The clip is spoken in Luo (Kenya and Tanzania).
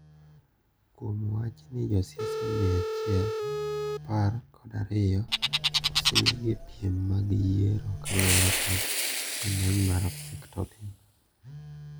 Kuom wachni josiasa mia achiel apar kod ariyo osenegi e piem mag yiero kaluore kod rameny mar pictoline.